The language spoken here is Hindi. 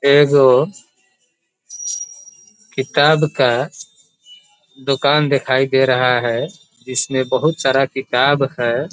ए गो किताब का दुकान दिखाई दे रहा है इसमें बहुत सारा किताब है।